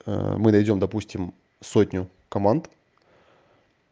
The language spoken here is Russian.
мы дойдём допустим в сотню команд